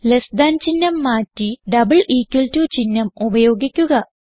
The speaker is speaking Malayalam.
ലെസ് താൻ ചിഹ്നം മാറ്റി ഡബിൾ ഇക്വൽ ടോ ചിഹ്നം ഉപയോഗിക്കുക